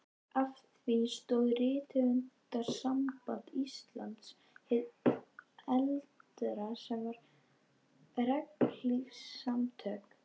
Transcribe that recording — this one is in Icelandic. Að því stóð Rithöfundasamband Íslands hið eldra, sem var regnhlífarsamtök